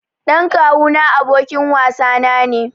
Ɗan kawu na abokin wasa na ne.